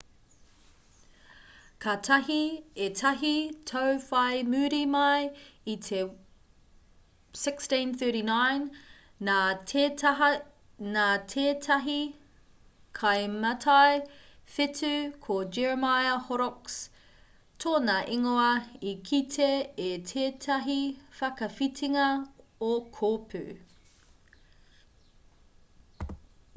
kātahi ētahi tau whai muri mai i te 1639 nā tētahi kaimātai whetū ko jeremiah horrocks tōna ingoa i kite i tētahi whakawhitinga o kōpū